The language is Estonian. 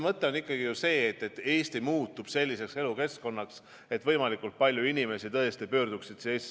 Mõte on ju see, et Eesti muutub selliseks elukeskkonnaks, kuhu võimalikult paljud inimesed tõesti tahavad tagasi pöörduda.